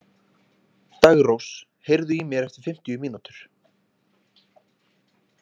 Daggrós, heyrðu í mér eftir fimmtíu mínútur.